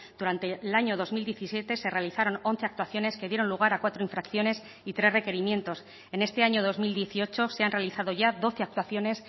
durante el año dos mil diecisiete se realizaron once actuaciones que dieron lugar a cuatro infracciones y tres requerimientos en este año dos mil dieciocho se han realizado ya doce actuaciones